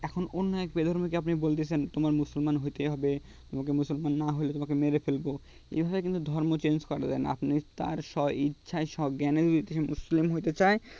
এখন অন্য এক বিধর্মী কে আপনি বলছেন তোমার মুসলমান হতে হবে মুসলমান না হলে তোমাকে মেরে ফেলব এ ভাবে কিন্তু ধর্ম change করা যায় না আপনি তার স্বইচ্ছা স্বজ্ঞায়নের বিরুদ্ধে মুসলিম হতে চায়